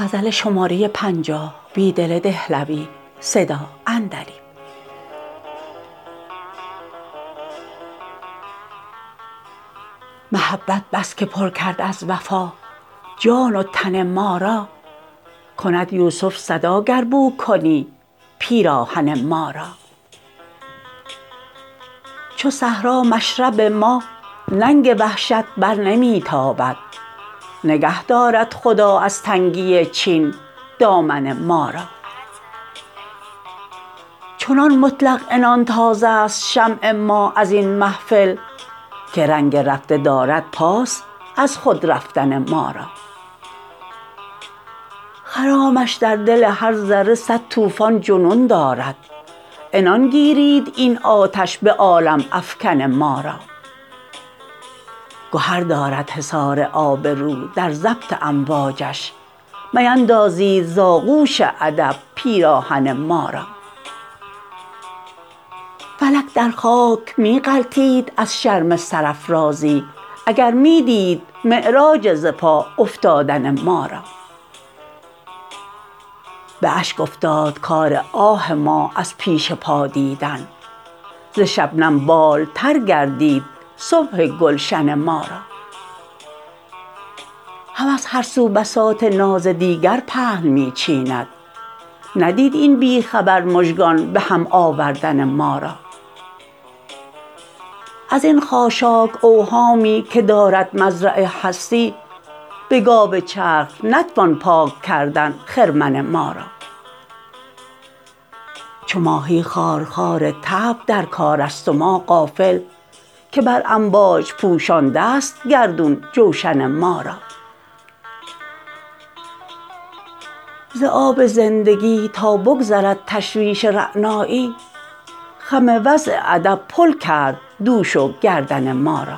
محبت بس که پر کرد از وفا جان و تن ما را کند یوسف صدا گر بو کنی پیراهن ما را چو صحرا مشرب ما ننگ وحشت برنمی تابد نگه دارد خدا از تنگی چین دامن ما را چنان مطلق عنان تاز است شمع ما از این محفل که رنگ رفته دارد پاس از خود رفتن ما را خرامش در دل هر ذره صد توفان جنون دارد عنان گیرید این آتش به عالم افکن ما را گهر دارد حصار آبرو در ضبط امواجش میندازید ز آغوش ادب پیراهن ما را فلک در خاک می غلتید از شرم سرافرازی اگر می دید معراج ز پا افتادن ما را به اشک افتاد کار آه ما از پیش پا دیدن ز شبنم بال تر گردید صبح گلشن ما را هوس هر سو بساط ناز دیگر پهن می چیند ندید این بی خبر مژگان به هم آوردن ما را از این خاشاک اوهامی که دارد مزرع هستی به گاو چرخ نتوان پاک کردن خرمن ما را چو ماهی خارخار طبع در کار است و ما غافل که بر امواج پوشانده ست گردون جوشن ما را ز آب زندگی تا بگذرد تشویش رعنایی خم وضع ادب پل کرد دوش و گردن ما را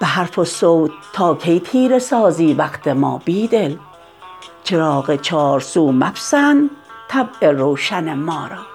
به حرف و صوت تا کی تیره سازی وقت ما بیدل چراغ چارسو مپسند طبع روشن ما را